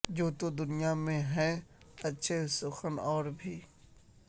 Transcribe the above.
یوں تو دنیا میں ہیں اچھے سخن ور اور بھی